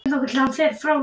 En hvert er markmiðið?